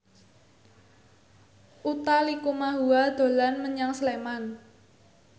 Utha Likumahua dolan menyang Sleman